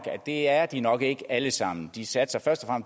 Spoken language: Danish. at det er de nok ikke alle sammen de satser først og